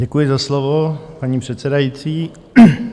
Děkuji za slovo, paní předsedající.